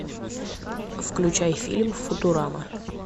включай фильм футурама